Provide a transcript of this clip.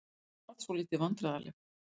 Ég varð svolítið vandræðaleg.